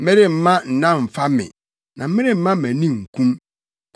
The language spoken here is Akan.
meremma nna mmfa me na meremma mʼani nkum,